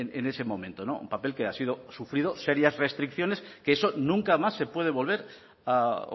en ese momento un papel que ha sido sufrido serias restricciones que eso nunca más se puede volver a